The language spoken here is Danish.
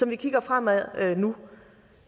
vi kigger fremad nu